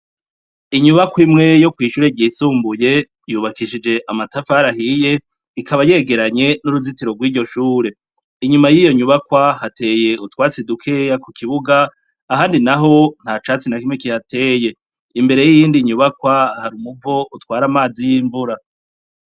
Inyubakwa imwe yo kw'ishure ryisumbuye, yubakishije amatafari ahiye, ikaba yegeranye n'uzitiro rw'iyo shure, inyuma yiyo nyubakwa hateye utwatsi dukeya kukibuga, ahandi naho nta catsi nakimwe kihateye, imbere y'indi nyubakwa har'umuvo utwara amazi y'imvura.